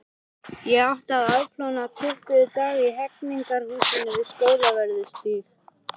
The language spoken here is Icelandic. Ég átti að afplána tuttugu daga í Hegningarhúsinu við Skólavörðustíg.